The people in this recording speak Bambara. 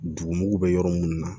Dugumugu bɛ yɔrɔ minnu na